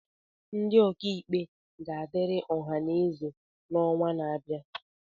Ndị ọka ikpe ga-adịrị ọha na eze n'ọnwa na-abịa